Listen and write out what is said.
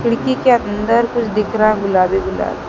खिड़की के अंदर कुछ दिख रहा गुलाबी गुलाबी।